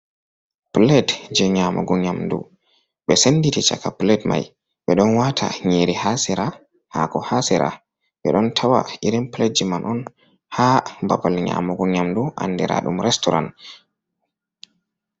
Pilet je Nyamugu Nyamdu, be Senditi Chaka Pilet mai be ɗon Wata Nyiri ha Sira, Hako ha Sira ɓe ɗon Tawa irin Pilet jiman'on ha Babal Nyamugo Nyamdu Andira'dum Restoran.